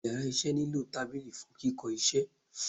íyarà iṣẹ ni lo tábilí fún Kìkó isé